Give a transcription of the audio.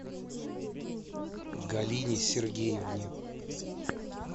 галине сергеевне